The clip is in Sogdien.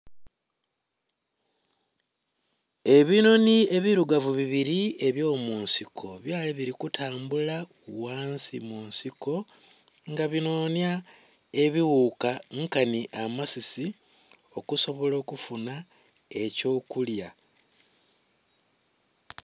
Ebinhonhi ebilugavu bibili eby'omunsiko byali bili kutambula ghansi mu nsiko nga binhonhya ebighuuka nkanhi amasisi, okusobola okufunha eky'okulya.